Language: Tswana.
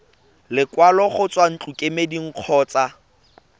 lekwalo go tswa ntlokemeding kgotsa